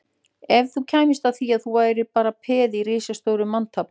Ef þú kæmist að því að þú værir bara peð í risastóru manntafli